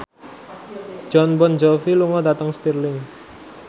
Jon Bon Jovi lunga dhateng Stirling